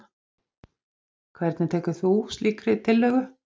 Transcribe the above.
Hvernig tekur þú slíkri tillögu?